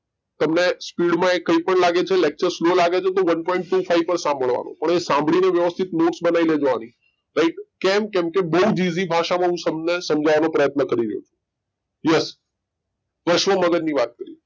તમને speed કઈ પણ લાગે છેલેચ્તૃરે સ્લો લાગે છે તો One Point Two Five પર સંભળાવા નું પણ એ સાંભળી ને વ્યવસ્થિત નોટ્સ બની લેજો આની રાઈટ કેમ, કેમ કે બઉ જ ઈસી ભાષા માં હું તમને સમજાય સમજવાનો પ્રયતન કરી રહ્યો છું યસ પશ્વ મગજ ની વાત કરીયે.